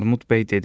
Armud bəy dedi: